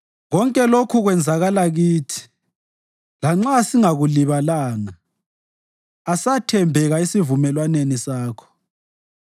Konke lokhu kwenzakala kithi, lanxa sasingakulibalanga; asathembeka esivumelwaneni sakho.